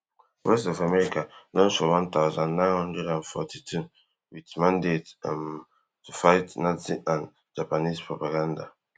voice of america launch for one thousand, nine hundred and forty-two wit mandate um to fight nazi and japanese propaganda